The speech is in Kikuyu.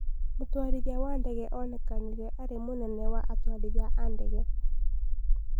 Mũtũarithia wa ndege onekanire arĩ mũnene wa atũarithia a ndege